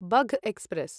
Bagh express